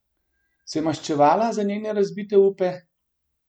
Se maščevala za njene razbite upe?